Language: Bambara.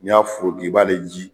Ni y'a foroki, i b'ale ji